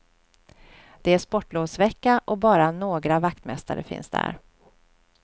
Det är sportlovsvecka, och bara några vaktmästare finns där.